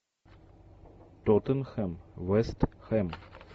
тоттенхэм вест хэм